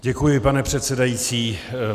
Děkuji, pane předsedající.